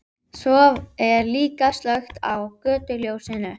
Svo er líka slökkt á götuljósinu.